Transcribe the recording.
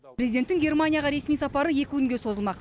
президенттің германияға ресми сапары екі күнге созылмақ